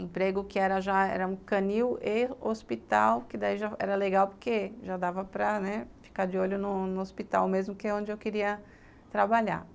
emprego que já era um canil e hospital, que daí já era legal porque já dava para ficar de olho no hospital mesmo que é onde eu queria trabalhar.